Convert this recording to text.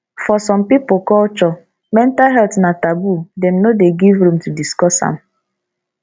for some pipo culture mental health na taboo dem no dey give room to discuss am